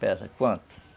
Pesa quanto?